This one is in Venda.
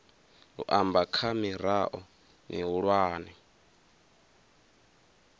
u amba kha mirao mihulwane